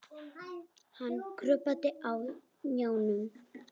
Hann krjúpandi á hnjánum.